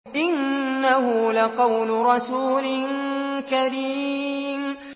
إِنَّهُ لَقَوْلُ رَسُولٍ كَرِيمٍ